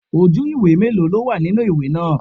Ojú ìwé mélòó ló wà nínú ìwé náà?